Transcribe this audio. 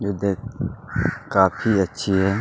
वो देख काफ़ी अच्छी है।